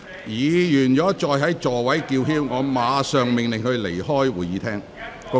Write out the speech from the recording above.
如果議員繼續在座位叫喊，我會立即命令他們離開會議廳。